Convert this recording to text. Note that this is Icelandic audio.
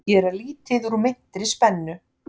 Gera lítið úr meintri spennu